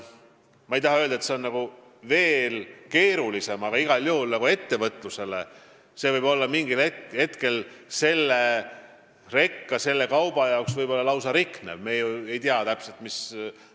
Ma ei taha küll öelda, et nendega on veel keerulisem, aga igal juhul ettevõtlusele võib see mingil hetkel olla suur löök, sest me ei tea ju täpselt, mis seal reka peal on – seal võib olla näiteks riknev kaup.